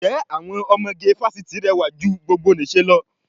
Ǹjẹ́ àwọn ọmọge fásitì rẹwà ju ti gbogbonìṣe lọ?